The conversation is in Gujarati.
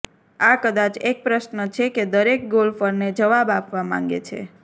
આ કદાચ એક પ્રશ્ન છે કે દરેક ગોલ્ફરને જવાબ આપવા માંગે છે